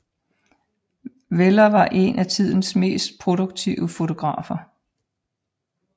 Weller var en af tidens mest produktive fotografer